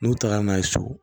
N'u taara n'a ye so